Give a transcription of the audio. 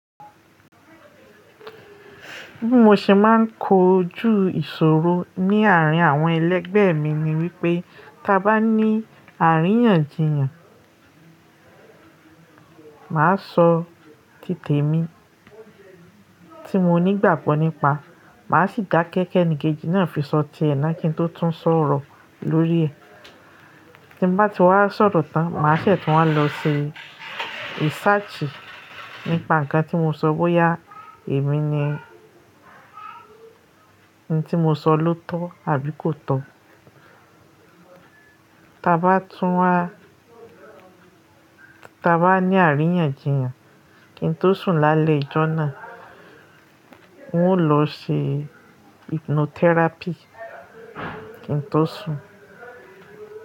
Bí mo ṣe máa ń kojú ìṣòro ní àárín àwọn ẹlẹgbẹ́ mi ni wípé tá bá ní àríyànjiyàn, màá sọ títè mi tí mo nígbàgbọ́ nípa, màá sì dá kẹ̀ ki enìkejì náà fi sọtẹ́ ẹ̀ náà kí n tó tún sọ̀rọ̀ lórí ẹ̀. Tí n bá ti wá sọ̀rọ̀ tán, màá se tún wá lọ ṣe researchi nípa nǹkan tí mo sọ bóyá èmi ni, ohun tí mo sọ ló tọ̀ àbí kò tọ̀. Tá bá tún wá, tá bá ní àríyànjiyàn kí n tó sùn lálẹ́ ìjọ náà, mó lọ ṣe hypnotherapy kí n tó sùn.